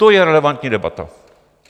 To je relevantní debata.